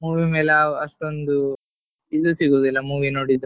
Movie ಮೇಲೆ ಅಷ್ಟೊಂದು ಇದು ಸಿಗುದಿಲ್ಲ movie ನೋಡಿದ್ದು.